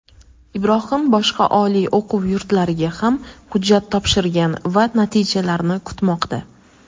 Ibrohim boshqa oliy o‘quv yurtlariga ham hujjat topshirgan va natijalarni kutmoqda.